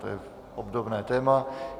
To je obdobné téma.